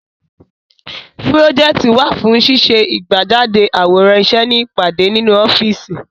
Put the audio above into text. Pùròjẹ́tọ̀ wà fún ṣíṣe ìgbéjáde àwòrán iṣẹ́ ní ìpàdé nínú ọ́fíìsì.